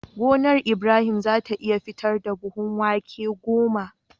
Gonar Ibrahim zata iya fitar da buhun wake goma